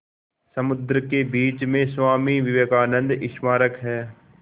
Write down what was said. समुद्र के बीच में स्वामी विवेकानंद स्मारक है